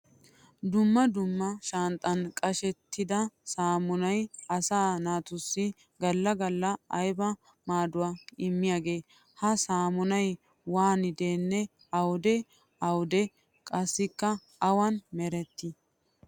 Dumma dumma shanxxan qashettidda saamunnay asaa naatussi gala gala aybba maaduwa immiyaage? Ha saamunay waaniddinne awudde awudde qassikka awan meretti?